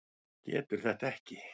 Getur þetta ekki.